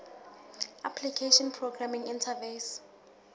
application programming interface